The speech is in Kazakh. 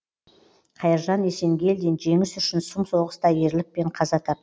қайыржан есенгелдин жеңіс үшін сұм соғыста ерлікпен қаза тап